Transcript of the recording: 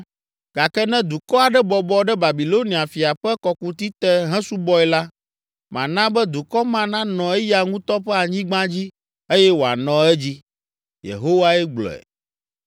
Gake ne dukɔ aɖe bɔbɔ ɖe Babilonia fia ƒe kɔkuti te hesubɔe la, mana be dukɔ ma nanɔ eya ŋutɔ ƒe anyigba dzi eye wòanɔ edzi. Yehowae gblɔe.”